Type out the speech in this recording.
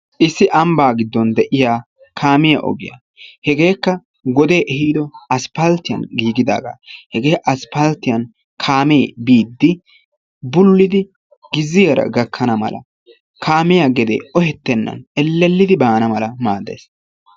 issi ambbaa giddoon de'iyaa kaamiyaa ogiyaa. hegeekka wodee ehiido asppaltiyaan giigidaagaa. hegee asppaltiyaan kaamee biidi bululiidi gizziyaara gakkana mala kaamiyaa gedee ohetenna mala maaddees.